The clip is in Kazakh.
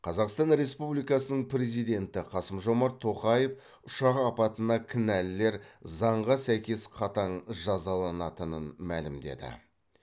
қазақстан республикасының президенті қасым жомарт тоқаев ұшақ апатына кінәлілер заңға сәйкес қатаң жазаланатынын мәлімдеді